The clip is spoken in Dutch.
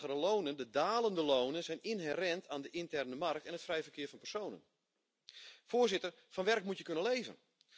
Lagere en dalende lonen zijn inherent aan de interne markt en het vrije verkeer van personen. Voorzitter, van werk moet je kunnen leven.